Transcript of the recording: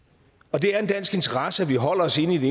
det er en dansk interesse at vi holder os inde i det